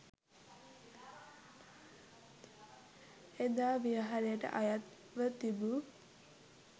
එදා විහාරයට අයත්ව තිබූ